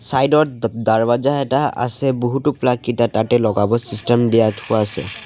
Side ত এটা আছে বহুতো প্লাগ কিতা তাতে লগাব চিষ্টেম দিয়া থোৱা আছে।